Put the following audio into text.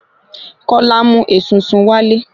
kólá mu esunsun wálé